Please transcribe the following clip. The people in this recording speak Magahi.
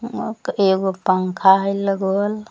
मक एगो पंखा हई लगल।